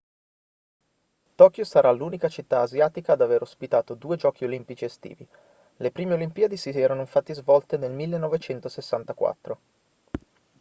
tokyo sarà l'unica città asiatica ad aver ospitato due giochi olimpici estivi le prime olimpiadi si erano infatti svolte nel 1964